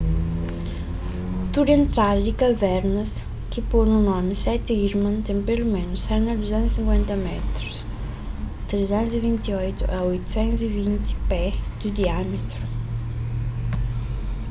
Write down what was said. tudu entrada di kavernas ki podu nomi seti irman” ten peloménus 100 a 250 métrus 328 a 820 pé di diâmitru